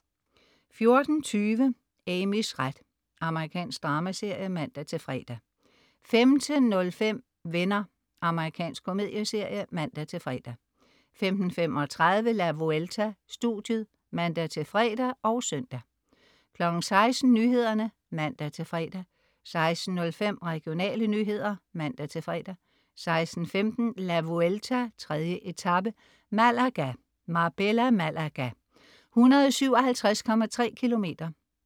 14.20 Amys ret. Amerikansk dramaserie (man-fre) 15.05 Venner . Amerikansk komedieserie (man-fre) 15.35 La Vuelta: Studiet (man-fre og søn) 16.00 Nyhederne (man-fre) 16.05 Regionale nyheder (man-fre) 16.15 La Vuelta: 3. etape, Malaga. Marbella-Malaga, 157,3 km.